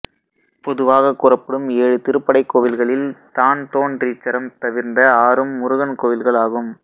பொதுவாகக் கூறப்படும் ஏழு திருப்படைக்கோவில்களில் தான்தோன்றீச்சரம் தவிர்ந்த ஆறும் முருகன் கோவில்களாகும்